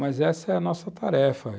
Mas essa é a nossa tarefa.